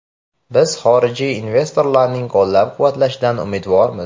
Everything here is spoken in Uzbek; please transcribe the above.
Biz xorijiy investorlarning qo‘llab-quvvatlashidan umidvormiz.